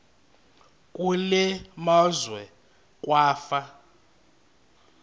kule meazwe kwafa